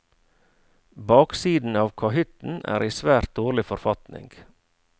Baksiden av kahytten er i svært dårlig forfatning.